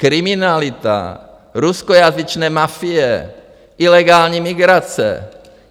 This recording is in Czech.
Kriminalita, ruskojazyčné mafie, ilegální migrace.